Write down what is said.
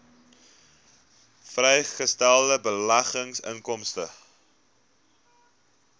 vrygestelde beleggingsinkomste